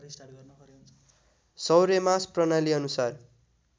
सौर्यमास प्रणाली अनुसार